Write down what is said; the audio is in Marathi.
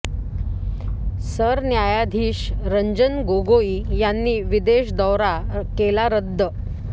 सरन्यायाधीश रंजन गोगोई यांनी विदेश दौरा केला रद्द